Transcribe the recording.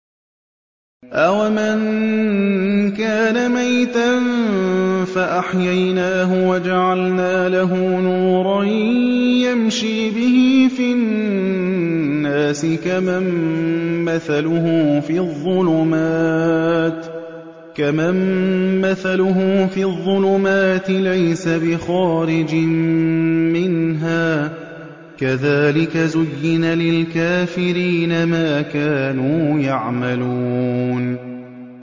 أَوَمَن كَانَ مَيْتًا فَأَحْيَيْنَاهُ وَجَعَلْنَا لَهُ نُورًا يَمْشِي بِهِ فِي النَّاسِ كَمَن مَّثَلُهُ فِي الظُّلُمَاتِ لَيْسَ بِخَارِجٍ مِّنْهَا ۚ كَذَٰلِكَ زُيِّنَ لِلْكَافِرِينَ مَا كَانُوا يَعْمَلُونَ